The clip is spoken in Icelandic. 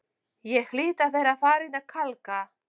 Ég hlýt að vera farin að kalka,